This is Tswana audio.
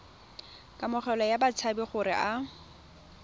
kamogelo ya batshabi gore a